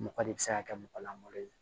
Mɔgɔ de bɛ se ka kɛ mɔgɔlankolon ye